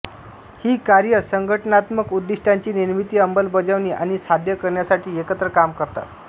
ही कार्ये संघटनात्मक उद्दीष्टांची निर्मिती अंमलबजावणी आणि साध्य करण्यासाठी एकत्र काम करतात